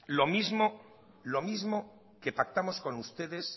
lo mismo que pactamos con ustedes